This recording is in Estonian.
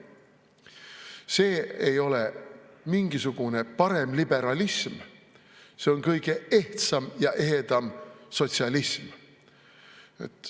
See ei ole mingisugune paremliberalism, see on kõige ehtsam ja ehedam sotsialism.